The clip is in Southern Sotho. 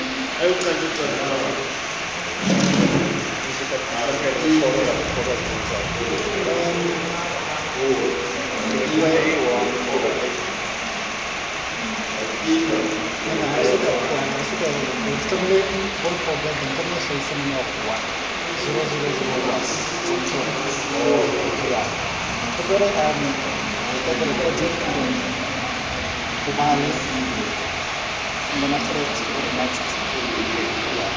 ha ba ka ba a